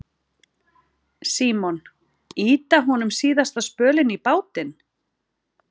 Símon: Ýta honum síðasta spölinn í bátinn?